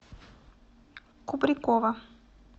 кубрикова